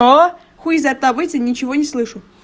хуй изо рта вытяни ничего не слышу